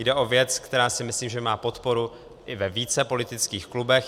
Jde o věc, která si myslím, že má podporu i ve více politických klubech.